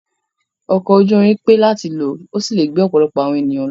Ọkọ̀ ojú irin pé láti lò, ó sì lè gbé ọ̀pọ̀lọpọ̀ àwọn ènìyàn.